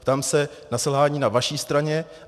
Ptám se na selhání na vaší straně.